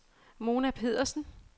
Mona Pedersen